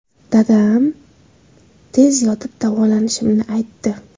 Dadam tez yotib davolanishimni aytdi.